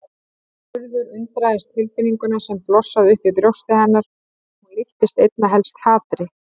Urður undraðist tilfinninguna sem blossaði upp í brjósti hennar, hún líktist einna helst hatri.